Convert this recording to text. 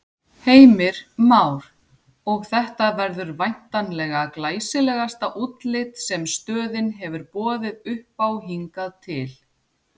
Heimir Már: Og þetta verður væntanlega glæsilegasta útlit sem stöðin hefur boðið uppá hingað til?